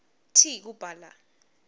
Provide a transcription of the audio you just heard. t kubhala